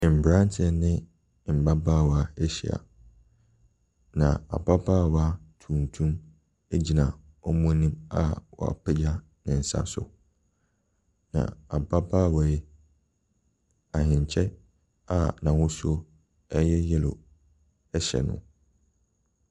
Mmranteɛ ne mmabaawa ɛhyia na ababaawa tuntum egyina wɔn anim a wapegya ne nsa so. Na ababaawa yi, ahenkyɛ a ahosuo ɛyɛ yellow ɛhyɛ no.